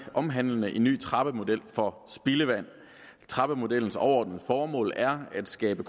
omhandlende en ny trappemodel for spildevand trappemodellens overordnede formål er at skabe